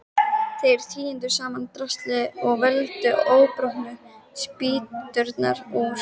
Þeir tíndu saman draslið og völdu óbrotnu spýturnar úr.